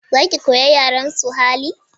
Za ki koyi yaren suhali?